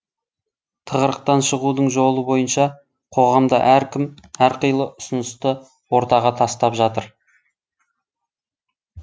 тығырықтан шығудың жолы бойынша қоғамда әркім әрқилы ұсынысты ортаға тастап жатыр